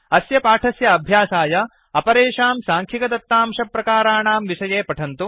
अस्य पाठस्य अभ्यासाय अपरेषां साङ्ख्यिकदत्तांशप्रकाराणां विषये पठन्तु